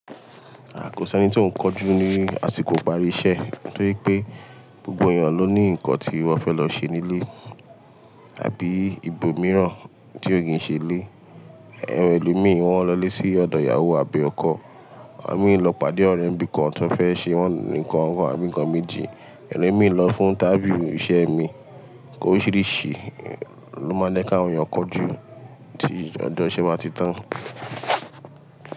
Aà kò s'ẹ́ni tí ò ń kanjú ní àsìkò ìparí iṣẹ́ torí pé gbogbo èèyàn ló ní nǹkan tí wọ́n fẹ́ lọ ṣe nílé àbí ibòmíràn tí ó kìí ṣe ilé. Awon elo mìí wọn lọlé sí ọ̀dọ̀ ìyàwó àbí ọkọ, à mí lọ pàdé ọ̀rẹ́ nìbí kan tí wọ́n fẹ́ ṣe wọn nǹkan kan àbí nǹkan méjì, èrò mìíràn lọ fún interview iṣẹ́ mi. Oríṣìíríṣìí ló máa ń jẹ́ kí àwọn èèyàn kanjú tí ọjọ́ ìṣe báa ti tán.